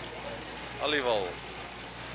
aliwal